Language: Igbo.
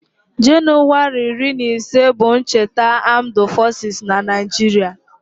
Januwari iri na ise bụ cheta Amdu fosis n'Naijiria